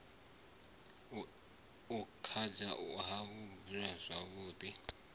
e khao ha buliwa zwavhui